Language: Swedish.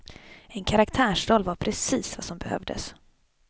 En karaktärsroll var precis vad som behövdes.